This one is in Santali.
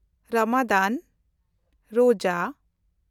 ᱨᱚᱢᱟᱫᱟᱱ (ᱨᱳᱡᱽᱟ)